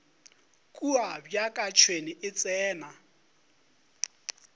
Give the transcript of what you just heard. kua bjaka tšhwene e tsena